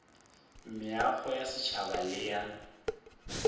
meago ya setšhaba le ya